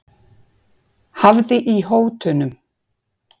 Hafði í hótunum